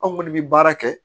Anw kɔni bɛ baara kɛ